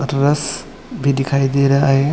आट्र्स भी दिखाई दे रहे है।